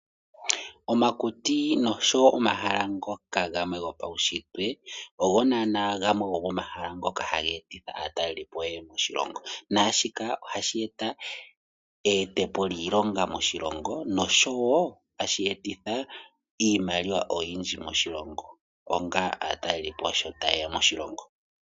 Omakuti nosho wo omahala ngoka gamwe gopaunshitwe ogo naana gamwe gomomahala ngoka haga etitha aatalelipo yeye moshilongo, naashika ohashi eta eyete po lyiilonga moshilongo nosho wo ohashi etitha iimaliwa oyindji moshilongo, onga aatalelipo sho tayeya moshilongo.